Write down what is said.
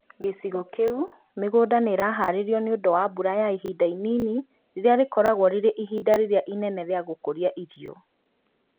Gĩcigo kĩu mĩgũnda nĩ ĩraharĩrio nĩũndũ wa mbura ya ihinda inini, rĩrĩa rĩkoragwo rĩrĩ ihinda rĩrĩa inene rĩa gũkũria irio